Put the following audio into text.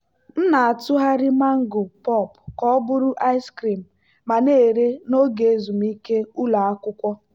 m na-atụgharị mango pulp ka ọ bụrụ ice cream ma na-ere n'oge ezumike ụlọ akwụkwọ.